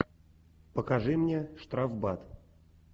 покажи мне штрафбат